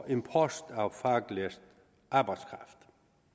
import af faglært arbejdskraft